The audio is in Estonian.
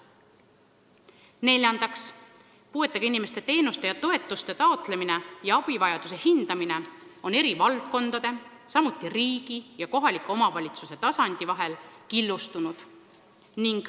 Neljandaks, puuetega inimeste teenuste ja toetuste taotlemine ning abivajaduse hindamine on eri valdkondade, samuti riigi ja kohaliku omavalitsuse tasandi vahel killustunud.